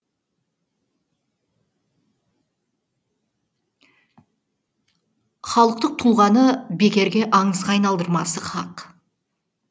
халықтың тұлғаны бекерге аңызға айналдырмасы хақ